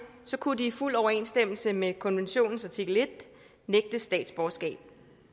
kunne de i fuld overensstemmelse med konventionens artikel en nægtes statsborgerskab